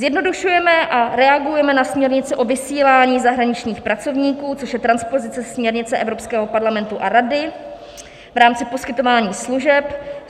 Zjednodušujeme a reagujeme na směrnici o vysílání zahraničních pracovníků, což je transpozice směrnice Evropského parlamentu a Rady v rámci poskytování služeb.